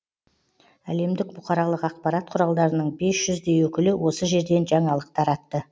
әлемдік бұқаралық ақпарат құралдарының бес жүздей өкілі осы жерден жаңалық таратты